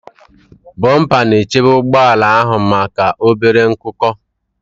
Bọmpa na-echebe ụgbọ ala ahụ maka obere nkuko.